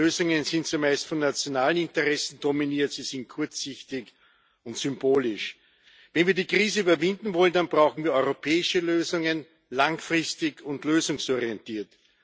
Die Lösungen sind zumeist von nationalen Interessen dominiert, sie sind kurzsichtig und symbolisch. Wenn wir die Krise überwinden wollen, dann brauchen wir europäische Lösungen, langfristig und lösungsorientiert.